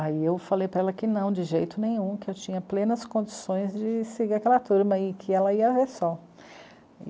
Aí eu falei para ela que não, de jeito nenhum, que eu tinha plenas condições de seguir aquela turma aí, que ela ia, é só.